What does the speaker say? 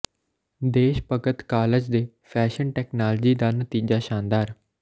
ਦੇਸ਼ ਭਗਤ ਕਾਲਜ ਦੇ fashion technology ਦਾ ਨਤੀਜਾ ਸ਼ਾਨਦਾਰ